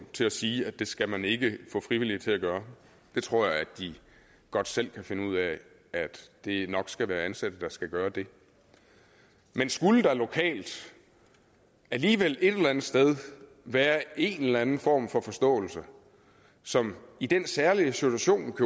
til at sige at det skal man ikke få frivillige til at gøre jeg tror at de godt selv kan finde ud af at det nok skal være ansatte der skal gøre det men skulle der lokalt alligevel et eller andet sted være en eller anden form for forståelse som i den særlige situation